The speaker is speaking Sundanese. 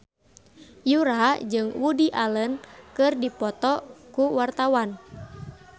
Yura jeung Woody Allen keur dipoto ku wartawan